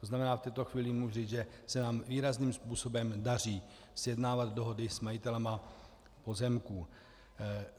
To znamená, v tuto chvíli mohu říci, že se nám výrazným způsobem daří sjednávat dohody s majiteli pozemků.